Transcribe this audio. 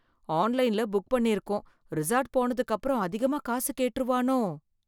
ஆன்லைன்ல புக் பண்ணி இருக்கோம், ரிசார்ட் போனதுக்கப்புறம் அதிகமா காசு கேட்டுருவானோ.